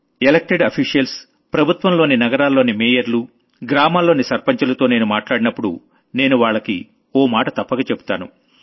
elected officials ప్రభుత్వంలోని నగరాల్లోని మేయర్లు గ్రామాల్లోని సర్పంచులతో నేను మాట్లాడినప్పుడు నేను వాళ్లకి ఓ మాట తప్పక చెబుతాను